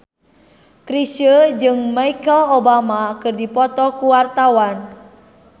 Chrisye jeung Michelle Obama keur dipoto ku wartawan